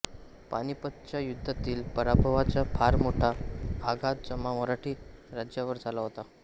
पानिपतच्या युद्धातील पराभवाचा फार मोठा आघात जसा मराठी राज्यावर झाला होता